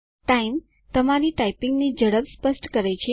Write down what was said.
time - તમારી ટાઈપીંગની ઝડપ સ્પષ્ટ કરે છે